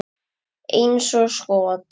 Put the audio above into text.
Eins og skot!